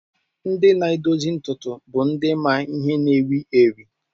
Ndị na-edozi ntutu bụ ndị ma ihe na-ewi ewi.